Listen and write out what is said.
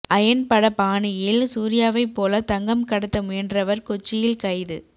iron பட பாணியில் சூர்யாவைப் போல தங்கம் கடத்த முயன்றவர் கொச்சியில் கைது